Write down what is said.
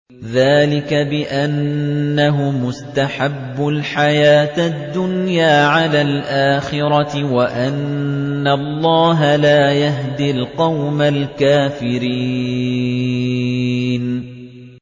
ذَٰلِكَ بِأَنَّهُمُ اسْتَحَبُّوا الْحَيَاةَ الدُّنْيَا عَلَى الْآخِرَةِ وَأَنَّ اللَّهَ لَا يَهْدِي الْقَوْمَ الْكَافِرِينَ